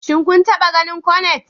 Shin kun taɓa ganin Cornet?